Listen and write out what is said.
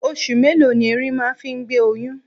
Oṣù mélòó ni ẹrin máa ń fi gbé oyún?